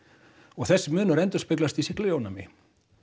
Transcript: og þessu munur endurspeglast í sýklalyfjaónæmi